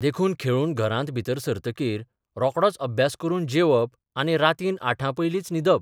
देखून खेळून घरांत भितर सरतकीर रोकडोच अभ्यास करून जेवप आनी रातीन आठांपयलींच न्हिदप.